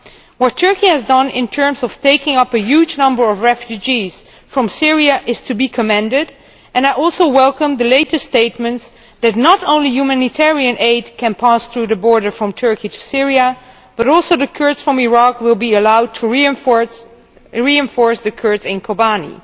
What Turkey has done in terms of taking up a huge number of refugees from Syria is to be commended, and I also welcome the latest statements that not only humanitarian aid can pass through the border from Turkey to Syria but also the Kurds from Iraq will be allowed to reinforce the Kurds in Kobane.